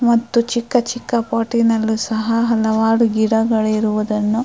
ಮತ್ತು ಚಿಕ್ಕ ಚಿಕ್ಕ ಪಾಟಿನಲ್ಲೂ ಸಹ ಹಲವಾರು ಗಿಡಗಳಿರುವುದನ್ನು --